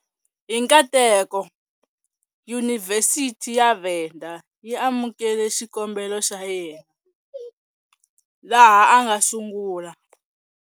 Hi nkateko, Yunivhesiti ya Venda yi amukele xikombelo xa yena, laha a nga sungula.